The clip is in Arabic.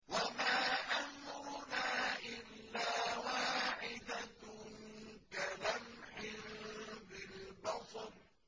وَمَا أَمْرُنَا إِلَّا وَاحِدَةٌ كَلَمْحٍ بِالْبَصَرِ